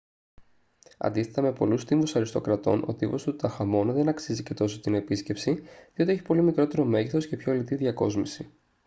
αντίθετα με πολλούς τύμβους αριστοκρατών ο τύμβος του τουταγχαμών δεν αξίζει και τόσο την επίσκεψη διότι έχει πολύ μικρότερο μέγεθος και πιο λιτή διακόσμηση